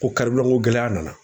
Ko ko gɛlɛya nana